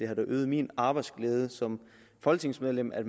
har øget min arbejdsglæde som folketingsmedlem at